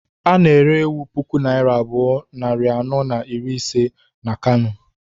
A na-ere ewu puku naira abụọ, nari anọ na iri ise na Kano